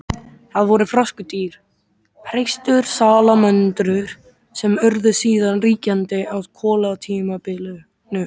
Það voru froskdýr, hreistursalamöndrur, sem urðu síðan ríkjandi á kolatímabilinu.